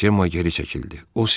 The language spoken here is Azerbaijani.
Cemma geri çəkildi.